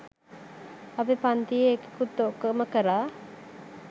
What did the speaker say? අපෙ පන්තියෙ එකෙකුත් ඕකම කරා.